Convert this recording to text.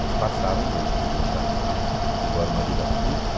Eles passaram mesmo, deixaram embora uma vida curta,